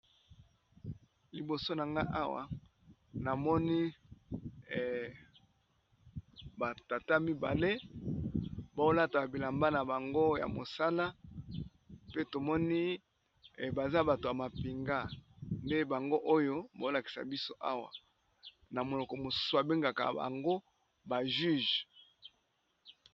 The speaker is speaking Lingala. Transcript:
Liboso Nagai Awa namoni batata mibale balati ba bilamba nambango ya mosala pee tomoni baza batu yamapinga